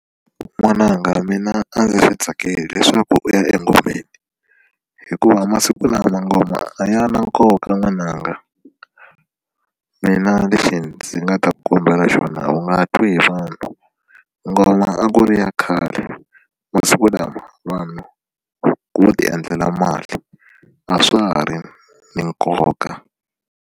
N'wananga mina a ndzi swi tsakeli leswaku u ya engomeni hikuva masiku lama ngoma a ya na nkoka n'wananga mina leswi ndzi nga ta ku kombela xona wu nga twi hi vanhu ngoma a ku ri ya khale masiku lama vanhu vo ti endlela mali a swa ha ri na nkoka.